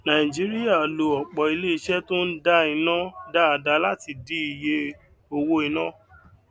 naijiria lo opo ile ise to n da ina daadaa láti dì iye owo ina